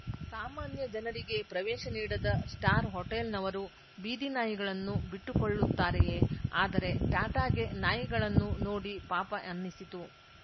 ಸಾಮಾನ್ಯ ಜನರಿಗೇ ಪ್ರವೇಶ ನೀಡದ ಸ್ಟಾರ್‌ ಹೋಟೆಲ್‌ನವರು ಬೀದಿ ನಾಯಿಗಳನ್ನು ಬಿಟ್ಟುಕೊಳ್ಳುತ್ತಾರೆಯೇ ಆದರೆ ಟಾಟಾಗೆ ನಾಯಿಗಳನ್ನು ನೋಡಿ ಪಾಪ ಅನ್ನಿಸಿತು